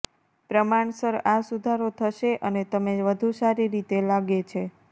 પ્રમાણસર આ સુધારો થશે અને તમે વધુ સારી રીતે લાગે છે